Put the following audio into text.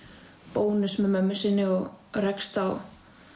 Bónus með mömmu sinni og rekst á